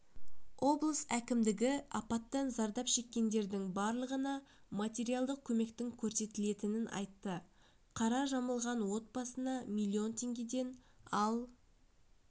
облыс әкімдігі апаттан зардап шеккендердің барлығына материалдық көмектің көрсетілетінін айтты қара жамылған отбасына миллион теңгеден ал